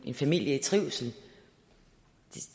en familie i trivsel